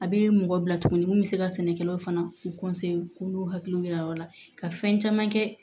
A bɛ mɔgɔ bila tuguni mun bɛ se ka sɛnɛkɛlaw fana k'u n'u hakili yira o la ka fɛn caman kɛ